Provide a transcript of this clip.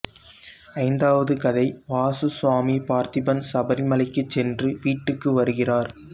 ஐந்தாவது கதை வாசுசுவாமி பார்த்திபன் சபரிமலைக்கு சென்று வீட்டுக்கு வருகிறார்